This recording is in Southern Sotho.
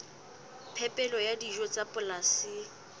phepelo ya dijo tsa polasing